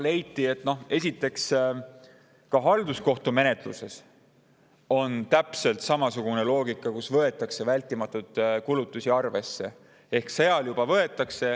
Esiteks leiti, et ka halduskohtumenetluses on täpselt samasugune loogika, et võetakse vältimatuid kulutusi arvesse.